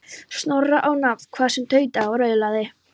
Snorra á nafn, hvað sem tautaði og raulaði.